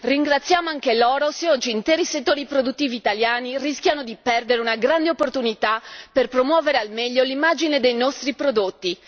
Ringraziamo anche loro se oggi interi settori produttivi italiani rischiano di perdere una grande occasione per promuovere al meglio l'immagine dei nostri prodotti.